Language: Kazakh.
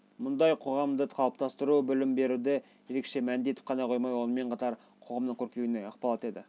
мұндай қоғамды қалыптастыру білім беруді ерекше мәнді етіп ғана қоймай сонымен қатар қоғамның көркеюіне ықпал етеді